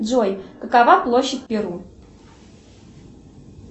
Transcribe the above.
джой какова площадь перу